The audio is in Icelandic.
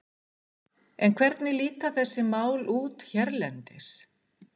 En hvernig líta þessi mál út hérlendis?